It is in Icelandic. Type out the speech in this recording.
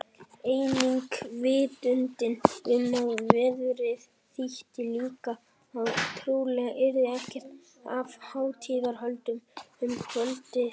Einnig vitundin um að veðrið þýddi líka að trúlega yrði ekkert af hátíðahöldum um kvöldið.